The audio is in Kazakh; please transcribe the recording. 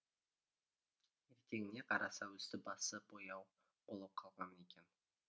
ертеңіне қараса үсті басы бояу болып қалған екен